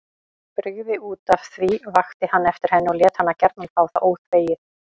Brygði útaf því, vakti hann eftir henni og lét hana gjarna fá það óþvegið.